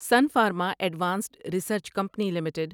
سن Pharma Advanced Research Company limited